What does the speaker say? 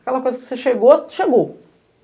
Aquela coisa que você chegou, chegou.